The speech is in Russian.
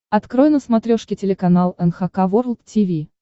открой на смотрешке телеканал эн эйч кей волд ти ви